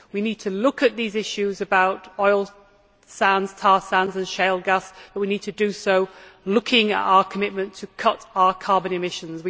We need to look at these issues about oil sands, tar sands and shale gas but we need to do so looking at our commitment to cut our carbon emissions.